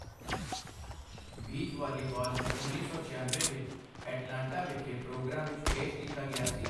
Beach volleyball ਨੂੰ ਉੱਨੀ ਸੌ ਛਿਆਨਵੇਂ ਵਿੱਚ ਐਟਲਾਂਟਾ ਵਿਖੇ ਪ੍ਰੋਗਰਾਮ ਵਿੱਚ ਪੇਸ਼ ਕੀਤਾ ਗਿਆ ਸੀ।